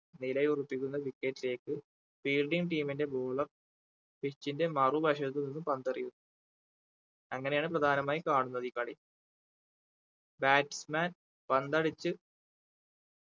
നിലയുറപ്പിക്കുന്ന wicket ലേക്ക് fielding team ന്റെ bowler pitch ന്റെ മറുവശത്തു നിന്നും പന്ത് എറിയും അങ്ങനെയാണ് പ്രധാനമായും കാണുന്നത് ഈ കളി batsman പന്ത് അടിച്ച്